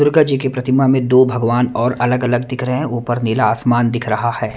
दुर्गा जी की प्रतिमा में दो भगवान और अलग-अलग दिख रहे हैं ऊपर नीला आसमान दिख रहा है।